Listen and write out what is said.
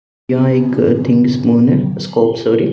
यहां एक think spoon है स्कोप सॉरी --